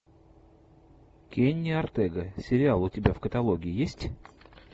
кенни ортега сериал у тебя в каталоге есть